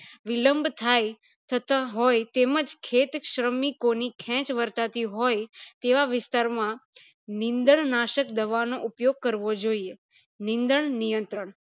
વિલમ થાય થતા હોય એમજ ખેત શ્રમિકોની કહેજ વર્તાતી હોય તેવા વિસ્તાર માં નીંદણ નાશક દવા ઓનો ઉપયોગ કરવો જોઈએ નીંદણ નિયંત્રણ